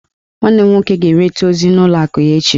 Nwanne m nwoke ga-enweta ozi n'ụlọ akụ ya echi